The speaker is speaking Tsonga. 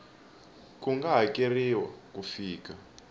ku nga hakeriwa ku fika